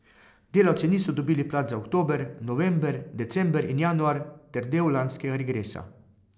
Delavci niso dobili plač za oktober, november, december in januar ter del lanskega regresa.